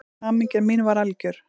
Hamingja mín var algjör.